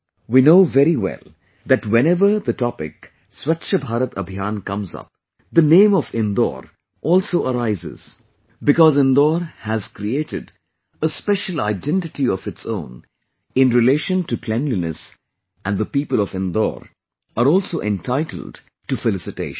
We know very well that whenever the topic Swachh Bharat Abhiyan comes up, the name of Indore also arises because Indore has created a special identity of its own in relation to cleanliness and the people of Indore are also entitled to felicitations